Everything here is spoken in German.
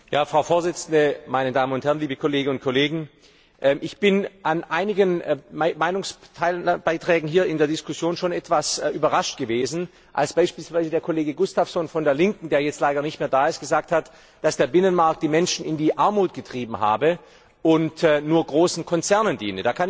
Frau Präsidentin, meine Damen und Herren, liebe Kolleginnen und Kollegen! Ich war über einige Meinungsbeiträge hier in der Diskussion schon etwas überrascht, als beispielsweise der Kollege Gustafsson von der Linken, der jetzt leider nicht mehr da ist, gesagt hat, dass der Binnenmarkt die Menschen in die Armut getrieben habe und nur großen Konzernen diene.